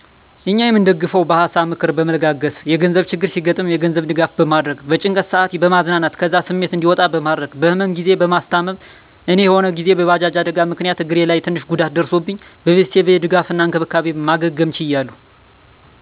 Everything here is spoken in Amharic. እኛ የምንደጋገፈዉ በሀሳ(ምክር)በመለጋገስ፣ የገንዘብ ችግር ሲያገጥም የገንዘብ ድጋፍ በማድረግ፣ በጭንቀት ሰአት በማዝናናት ከዛ ስሜት እዲወጣ በማድረግ፣ በህመም ግዜ በማስታም፦ እኔ የሆነ ግዜ የባጃጅ አደጋ ምክንያት እግሬ ላይ ትንሽ ጉዳት ደርሶብኝ በቤተሰቦቼ ድጋፍ እና እንክብካቤ ማገገም ችያለሁ